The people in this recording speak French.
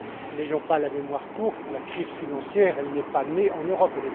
N'ayons pas la mémoire courte, la crise financière n'est pas née en Europe.